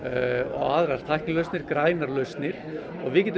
og aðrar tæknilausnir grænar lausnir og við getum